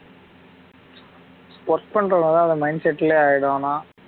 work பண்றதுனால அந்த mindset லயே ஆயிடும் ஆனா